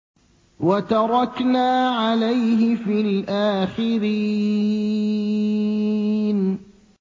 وَتَرَكْنَا عَلَيْهِ فِي الْآخِرِينَ